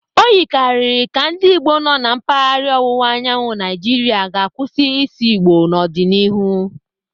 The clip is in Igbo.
O yikarịghị ka ndị Igbo nọ na mpaghara ọwụwa anyanwụ Naijiria ga-akwụsị ịsụ Igbo n'ọdịnihu.